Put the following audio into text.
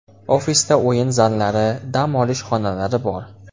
Ofisda o‘yin zallari, dam olish xonalari bor.